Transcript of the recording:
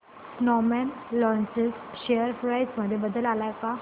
Snowman Logistics share price मध्ये बदल आलाय का